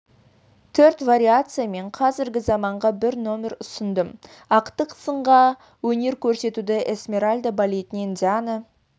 төрт вариация мен қазіргі заманғы бір нөмір ұсындым ақтық сынғы өнер көрсетуді эсмеральда балетінен диана